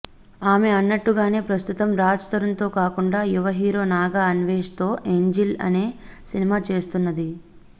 ఆమె అన్నట్టుగానే ప్రస్తుతం రాజ్ తరుణ్తో కాకుండా యువ హీరో నాగ అన్వేష్తో ఏంజెల్ అనే సినిమా చేస్తున్నది